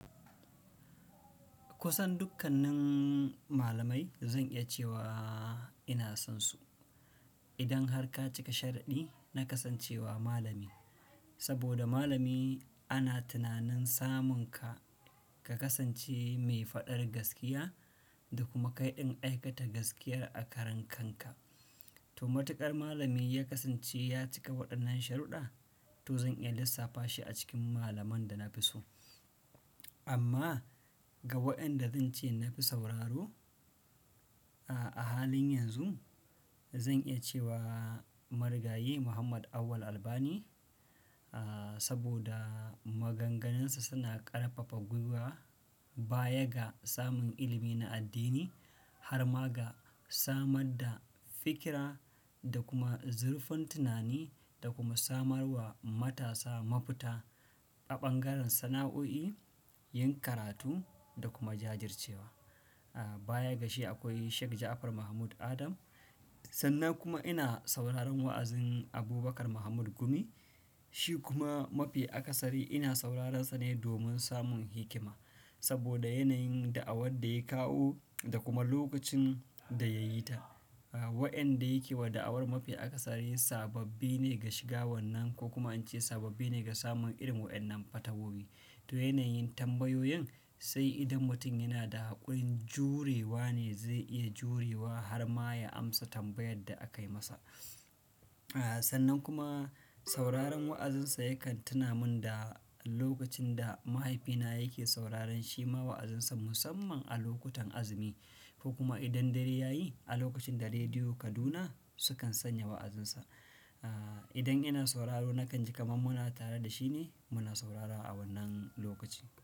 Kusan dukkanin malamai zan iya cewa ina sonsu. Idan har ka cika sharaɗi, na kasancewa malami. Saboda malami ana tunanin samun ka, ka kasance mai faɗar gaskiya da kuma kai ɗin aikata gaskiyar a karan kanka. To matuƙar malami ya kasance ya cika waɗannan sharudɗa, to zan iya lissafa shi a cikin malaman da na fi so. Amma ga waƴanda zan ce na fi sauraro. A halin yanzu zan iya cewa Marigayi Muhammad Awwal Albani, saboda maganganunsa suna ƙarfafa gwuiwa baya ga samun ilimi na addini. Har ma ga samar da fikira da kuma zurfin tunani da kuma samarwa matasa mafita a ɓangaren sana'o'i, yin karatu da kuma jajircewa. Baya ga shi akwai Sheikh Jafar Mahmud Adam. Sannan kuma ina sauraron wa'azin Abubakar Mahmud Gumi, shi kuma mafi akasari ina saurararsa ne domin samun hikima. Saboda yanayin da'awar da ya kawo da kuma lokacin da ya yi ta. Waƴanda yake wa da'awar mafi akasari sababbi ne ga shiga wannan ko kuma in ce sababbi ne ga samun irin waƴannan fatawa fatawoyi. To yanayin tambayoyin sai idan mutum yana da haƙurin jurewa ne zai iya jurewa har ma ya amsa tambayar da akai masa. A sannan kuma sauraron wa'azinsa yakan tuna mun da lokacin da mahaifina yake sauraren shi ma wa'azinsa musamman a lokutan azumi ko kuma idan dare ya yi a lokacin da Rediyo Kaduna sukan sanya wa'azinsa. Idan ina sauraro nakan ji kamar muna tare da shi ne muna saurara a wannan lokaci.